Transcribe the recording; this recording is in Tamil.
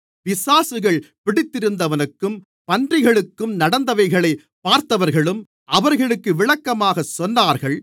பிசாசுகள் பிடித்திருந்தவனுக்கும் பன்றிகளுக்கும் நடந்தவைகளைப் பார்த்தவர்களும் அவர்களுக்கு விளக்கமாகச் சொன்னார்கள்